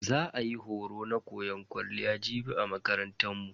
Za a yi horo na koyan kwalliya jibi a makarantan mu.